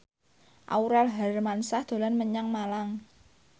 Aurel Hermansyah dolan menyang Malang